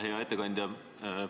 Hea ettekandja!